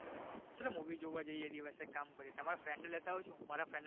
ચલો movie જોવા જઈએ દીવસે કામ પહી તમારા friend ને લેતા આવજો હું મારા friend ને